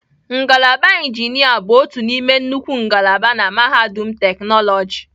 Ngalaba injinia bụ otu n'ime nnukwu ngalaba na mahadum teknoloji.